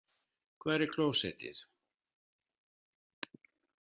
Hvar er klósettið?